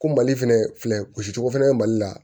Ko mali fɛnɛ filɛ gosicogo fɛnɛ be mali la